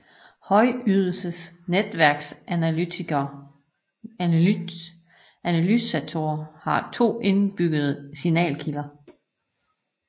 Højydelses netværksanalysatorer har to indbyggede signalkilder